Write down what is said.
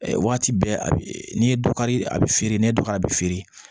Waati bɛɛ a bi n'i ye dɔ kari a bɛ feere n'e dɔ ka bɛ feere